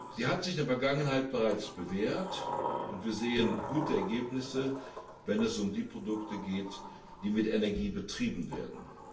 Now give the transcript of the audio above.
Sie hat sich in der Vergangenheit bereits bewährt, und wir sehen gute Ergebnisse, wenn es um die Produkte geht, die mit Energie betrieben werden.